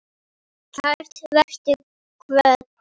Kært vertu kvödd.